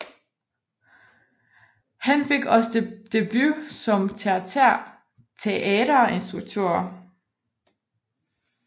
Han fik også debut som teaterinstruktør